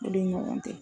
Olu ni ɲɔgɔn cɛ